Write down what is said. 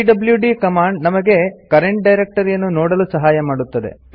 PWD command ನಮಗೆ current ಡೈರೆಕ್ಟರಿಯನ್ನು ನೋಡಲು ಸಹಾಯ ಮಾಡುತ್ತದೆ